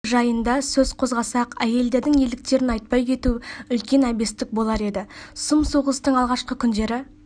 жайында сөз қозғасақ әйелдердің ерліктерін айтпай кету үлскен әбестік болар еді сұм соғыстың алғашқы күндері